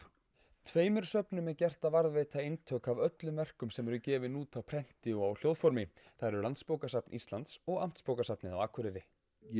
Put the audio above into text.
tveimur söfnum er gert að varðveita eintök af öllum verkum sem gefin eru út á prenti og hljóðformi það eru Landsbókasafn Íslands og Amtsbókasafnið á Akureyri ég